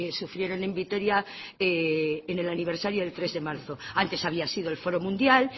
sufrieron en vitoria en el aniversario del tres de marzo antes había sido el foro mundial